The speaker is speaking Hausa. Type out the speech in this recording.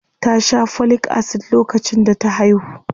Ta sha Folic Acid lokacin da ta haihu?